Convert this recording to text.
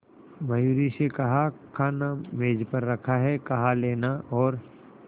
मयूरी से कहा खाना मेज पर रखा है कहा लेना और